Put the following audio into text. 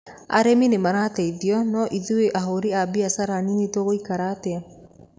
Arĩmi nĩ marateitho no ithuĩ ahũri a biathara anini tũgũikara atĩa?